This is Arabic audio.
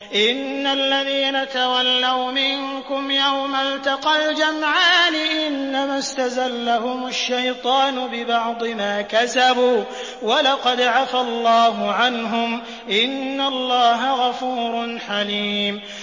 إِنَّ الَّذِينَ تَوَلَّوْا مِنكُمْ يَوْمَ الْتَقَى الْجَمْعَانِ إِنَّمَا اسْتَزَلَّهُمُ الشَّيْطَانُ بِبَعْضِ مَا كَسَبُوا ۖ وَلَقَدْ عَفَا اللَّهُ عَنْهُمْ ۗ إِنَّ اللَّهَ غَفُورٌ حَلِيمٌ